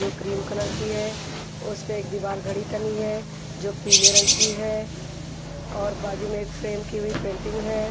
जो cream colour की है उस पे एक दीवाल घड़ी टंगी है जो पीले रंग की है और बाजू में एक फ्रेम की हुई पेंटिंग है।